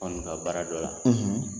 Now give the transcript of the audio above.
ka baara dɔ la